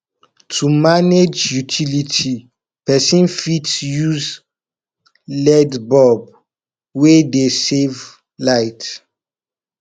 to manage utility person fit use led bulb wey dey save light